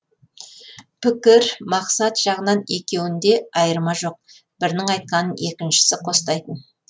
пікір мақсат жағынан екеуінде айырма жоқ бірінің айтқанын екіншісі қостайтын